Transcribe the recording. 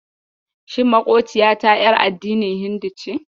Shi maƙociyata ƴar addinin Hindu ce?